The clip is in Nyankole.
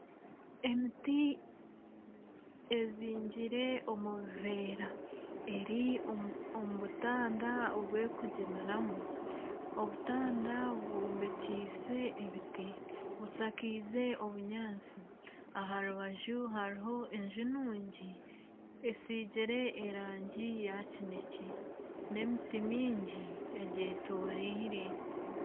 Emiti ezingire omu buvera eri omu butanda obw'ekuginiramu . Obutanda bwombekiise ebiti bushakaize obunyaatsi aha rubaju hariho enju nungi esiigire erangi ya kinekye n'emiti miingi egyetoreire.